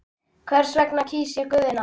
Þess vegna kýs ég Guðna.